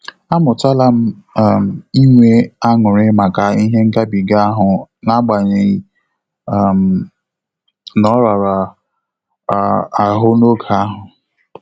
Amutalam um inwe aṅụrị maka ihe ngabiga ahụ agbanyeghi um n'orara um ahụ n'oge ahu